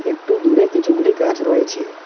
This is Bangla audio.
একটু দূরে কিছুগুলি গাছ রয়েছে।